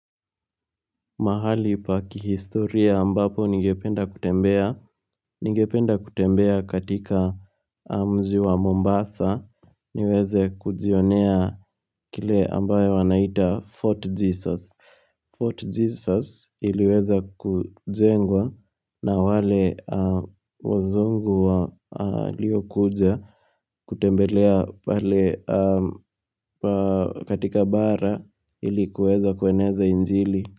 Mahali pa kihistoria ambapo ningependa kutembea, nigependa kutembea katika mji wa Mombasa, niweze kujionea kile ambayo wanaita Fort Jesus. Fort Jesus iliweza kujengwa na wale wazungu walio kuja kutembelea pale katika bara ili kueza kueneza injili.